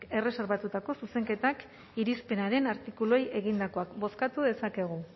erreserbatutako zuzenketak irizpenaren artikuluei egindakoak bozkatu dezakegu